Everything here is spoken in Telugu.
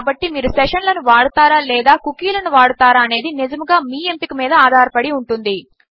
కాబట్టి మీరు సెషన్ లను వాడతారా లేదా కుకీలను వాడతారా అనేది నిజముగా మీ ఎంపిక మీద ఆధారపడి ఉంటుంది